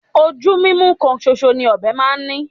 Ojú mímú kan ṣoṣọ ni ọ̀bẹ máa ń ní